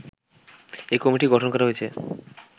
এ committee গঠন করা হয়েছে